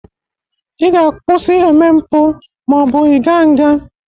Ị ga-akwụsị eme mpụ ma ọ bụ ị ga nga